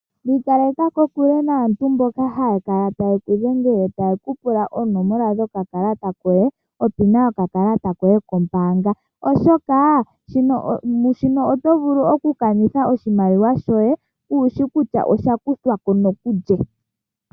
Ikaleka kokule naantu mboka haya kala taye ku dhengele taye ku pula oonomola dhokakalata koye, ano onomola yoye yomeholamo yokakalata kombaanga, oshoka mu shika oto vulu okukanitha oshimaliwa shoye kuu shi kutya osha kuthwa ko nokulye.